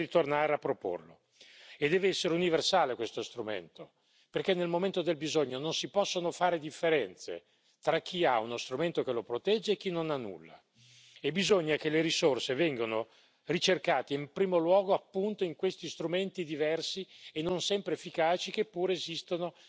Bisogna ritornare a proporlo e deve essere universale questo strumento, perché nel momento del bisogno non si possono fare differenze tra chi ha uno strumento che lo protegge e chi non ha nulla e bisogna che le risorse vengano ricercate in primo luogo appunto in questi strumenti diversi e non sempre efficaci, che pure esistono